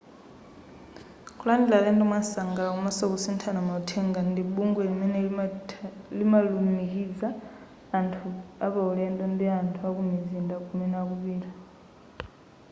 kulandila alendo mwamsangala komanso kusithana mauthenga ndi bungwe limene limalumikiza anthu apaulendo ndi anthu akumizinda kumene akupita